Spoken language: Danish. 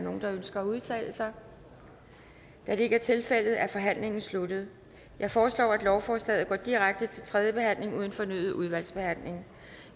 nogen der ønsker at udtale sig da det ikke er tilfældet er forhandlingen sluttet jeg foreslår at lovforslaget går direkte til tredje behandling uden fornyet udvalgsbehandling